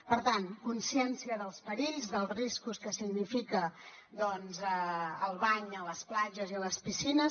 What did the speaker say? per tant consciència dels perills dels riscos que significa el bany a les platges i a les piscines